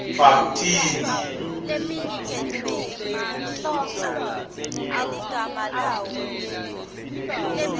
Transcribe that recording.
bhabtini